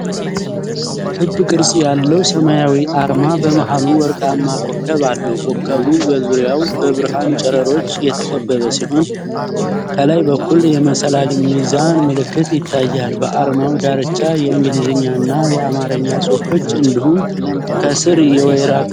ክብ ቅርጽ ያለው ሰማያዊ አርማ በመሃሉ ወርቃማ ኮከብ አለው። ኮከቡ በዙሪያው በብርሃን ጨረሮች የተከበበ ሲሆን፣ ከላይ በኩል የመሰላል ሚዛን ምልክት ይታያል። በአርማው ዳርቻ የእንግሊዝኛና የአማርኛ ጽሑፎች እንዲሁም ከስር የወይራ ቅጠሎች ተስለዋል።